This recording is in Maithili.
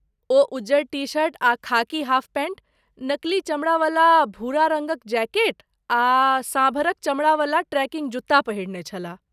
ओ उज्जर टी शर्ट आ खाकी हाफ पैंट, नकली चमड़ावला भूरा रङ्गक जैकेट आ साँभरक चमड़ावला ट्रेकिंग जूत्ता पहिरने छलाह।